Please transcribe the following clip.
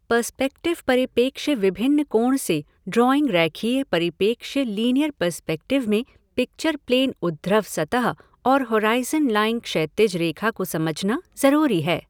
Perspective परिप्रेक्ष्य विभिन्न कोण से ड्रॉइंग रैखीय परिप्रेक्ष्य लीनियर पर्स्पेक्टिव में पिक्चर प्लेन ऊर्ध्व सतह और होराइज़न लाइन क्षैतिज रेखा को समझना जरूरी है।